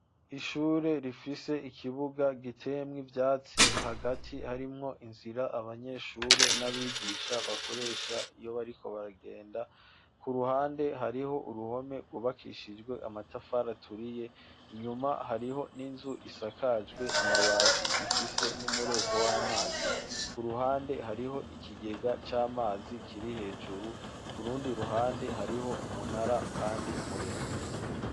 Ishure, rifise ikibuga, giteyemwo ivyatsi, hagati, harimwo inzira, abanyeshure n'abigisha bakoresha, iyo bariko baragenda; ku ruhande, hariho uruhome, rwubakishijwe amatafari aturiye; inyuma, hariho n'inzu, isakajwe amabati, ifise n'umureko w'amazi; ku ruhande, hariho ikigega c'amazi, kiri hejuru; ku rundi ruhande, hariho umunara, kandi muremure.